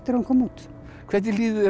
hún kom út hvernig líður